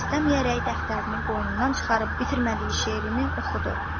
İstəməyərək dəftərini qoynundan çıxarıb bitirmədiyi şeirini oxudu.